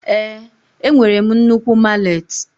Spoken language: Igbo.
Ee, enwere m nnukwu mallet.